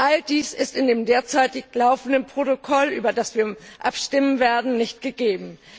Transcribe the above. All dies ist in dem derzeit laufenden Protokoll, über das wir abstimmen werden, nicht gegeben.